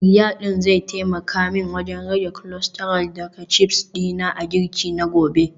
Fryer din iska zai taimaka min wajen rage cholesterol daga chips dina a girki na gobe